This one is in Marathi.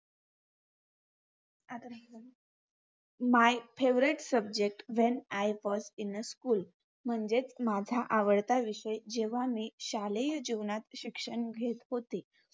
My favorite subject when I first in a school मंझे माझा आवडता विषय जेव्हा मि शालेय जीवनात शिक्षण घेत होते